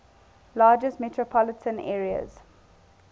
largest metropolitan areas